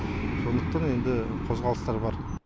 сондықтан енді қозғалыстар бар